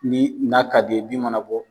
Ni n'a ka d'i ye bin mana bɔ